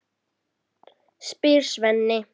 spyr Svenni.